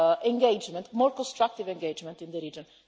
engagement, a more constructive engagement in the region.